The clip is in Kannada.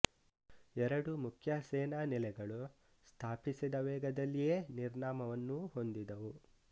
ಎರಡು ಮುಖ್ಯ ಸೇನಾ ನೆಲೆಗಳು ಸ್ಥಾಪಿಸಿದ ವೇಗದಲ್ಲಿಯೇ ನಿರ್ನಾಮವನ್ನೂ ಹೊಂದಿದವು